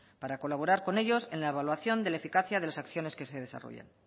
para colaborar con ellos en la evaluación de la eficacia de las acciones que se desarrollan